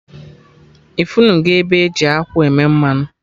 Ifunugo ebe eji akwụ eme mmanụ?